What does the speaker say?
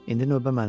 İndi növbə mənimdir.